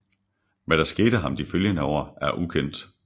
Hvad der skete ham de følgende år er ukendt